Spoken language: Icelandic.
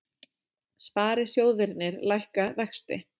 Sparisjóðirnir lækka vexti